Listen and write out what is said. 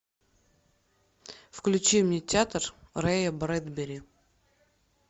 включи мне театр рэя брэдбери